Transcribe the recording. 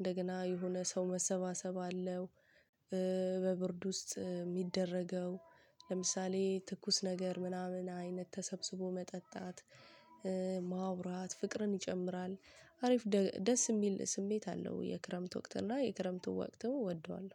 እንደገና የሆነ ሰው መሰባሰብ አለው። በብርድ ውስጥ የሚደረገው ለምሳሌ ትኩስ ነገር ምናምን አይነት ተሰብስቦ መጠጣት። ማውራት ፍቅርን ይጨምራል። አሪፍ ደስ የሚል ስሜት አለው የክረምት ወቅት እና የክረምቱ ወቅትም እወደዋለሁ